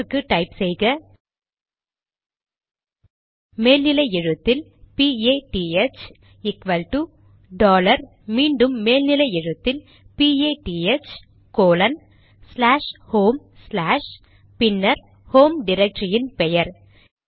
அதற்கு டைப் செய்க மேல் நிலை எழுத்தில் பிஏடிஹெச்PATH ஈக்வல்டு டாலர் மீண்டும் மேல் நிலை எழுத்தில் P A T H colon slash home slash பின்னர் ஹோம் டிரக்டரியின் பெயர்